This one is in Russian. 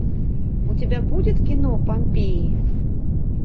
у тебя будет кино помпеи